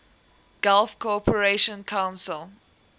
gulf cooperation council